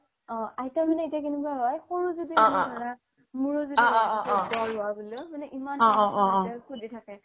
অ আইতা মানে এতিয়া কেনেকুৱা হয় ইমান দিগ্দাৰ সোধি থাকে